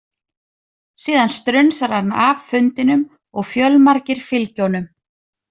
Síðan strunsar hann af fundinum og fjölmargir fylgja honum.